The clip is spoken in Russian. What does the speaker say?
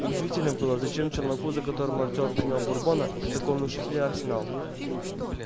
удивительно было зачем челноку за которого артем принял бурбона такой внушительный арсенал